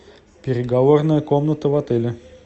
переговорная комната в отеле